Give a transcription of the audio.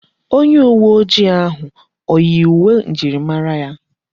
Onye uwe ojii ahụ oyi uwe njirimara ya?